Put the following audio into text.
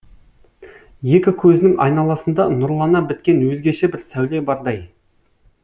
екі көзінің айналасында нұрлана біткен өзгеше бір сәуле бардай